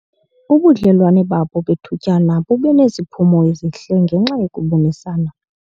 Ubudlelwane babo bethutyana bube neziphumo ezihle ngenxa yokubonisana.